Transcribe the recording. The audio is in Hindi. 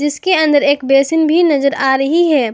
इसके अंदर एक बेसिन भी नजर आ रही है।